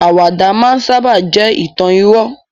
Àwàdà máa n sábà jẹ́ ìtàn irọ́